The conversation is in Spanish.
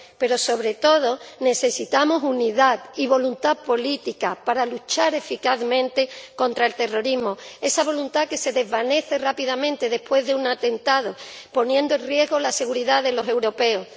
Pero, sobre todo, necesitamos unidad y voluntad política para luchar eficazmente contra el terrorismo, esa voluntad que se desvanece rápidamente después de un atentado, poniendo en riesgo la seguridad de los europeos.